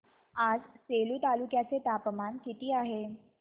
आज सेलू तालुक्या चे तापमान किती आहे